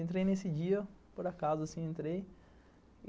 Entrei nesse dia, por acaso, assim, entrei.